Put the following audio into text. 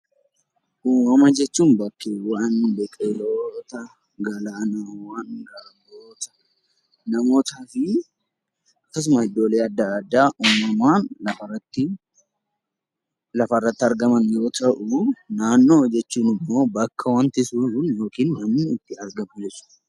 Uumama jechuun bakkeewwan, biqiloota, galaanawwan, garboota, namootaa fi akkasuma iddoolee adda addaa uumamaan lafarratti argaman yoo ta'u, naannoo jechuun immoo bakka itti siqnu yookiin immoo namni itti argamnu jechuudha.